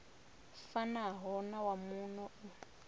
fanaho na wa muno u